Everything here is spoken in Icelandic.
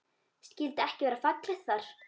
Skyldi ekki vera fallegt þar?